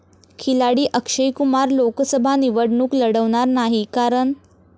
खिलाडी अक्षय कुमार लोकसभा निवडणूक लढवणार नाही, कारण...